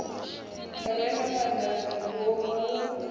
re na madambi ngomalungundu yo